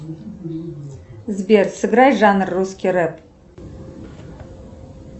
сбер сыграй жанр русский рэп